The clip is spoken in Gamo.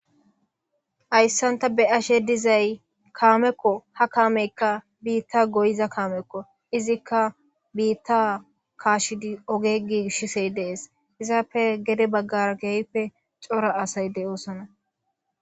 Hayssanta be ashe dizay kaamekko ha kaamekka biitta goyiza kaamekko izikka biitta kaashidi ogegi shisey dees izaappe gede baggar geeyppe cora asayde oosana.